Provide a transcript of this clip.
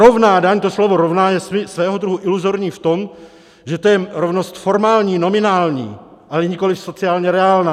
Rovná daň, to slovo rovná je svého druhu iluzorní v tom, že to je rovnost formální, nominální, ale nikoliv sociálně reálná.